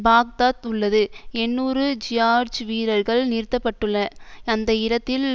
Baghdad உள்ளது எண்ணூறு George வீரர்கள் நிறுத்த பட்டுள்ள அந்த இடத்தில்